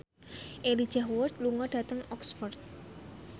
Elijah Wood lunga dhateng Oxford